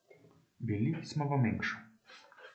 Bili smo v Mengšu.